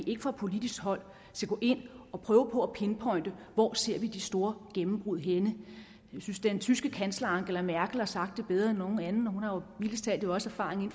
ind fra politisk hold og prøve på at pinpointe hvor vi ser de store gennembrud jeg synes den tyske kansler angela merkel har sagt det bedre end nogen anden og hun har jo mildest talt også erfaring